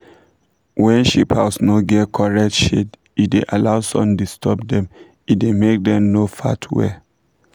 when sheep house no get coret shade e da allow sun disturb dem e da make dem no fat well